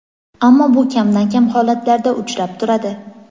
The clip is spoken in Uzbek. ammo bu kamdan kam holatlarda uchrab turadi.